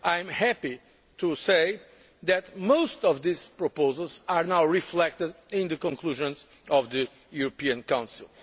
I am happy to say that most of these proposals are now reflected in the conclusions of the European Council.